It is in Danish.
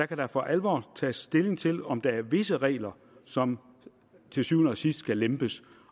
kan der for alvor tages stilling til om der er visse regler som til syvende og sidst skal lempes